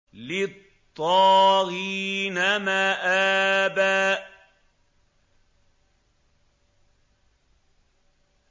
لِّلطَّاغِينَ مَآبًا